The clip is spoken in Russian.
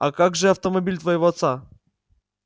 а как же автомобиль твоего отца